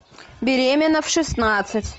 беременна в шестнадцать